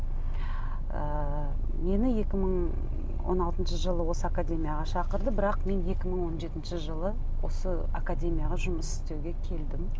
ы мені екі мың он алтыншы жылы осы академияға шақырды бірақ мен екі мың он жетінші жылы осы академияға жұмыс істеуге келдім